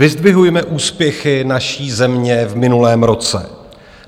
Vyzdvihujme úspěchy naší země v minulém roce.